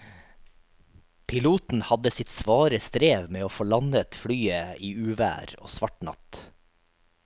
Piloten hadde sitt svare strev med å få landet flyet i uvær og svart natt.